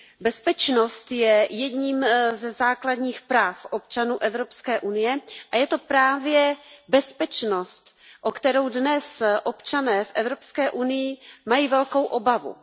Bezpečnost je jedním ze základních práv občanů Evropské unie a je to právě bezpečnost, o kterou dnes občané v Evropské unii mají velkou obavu.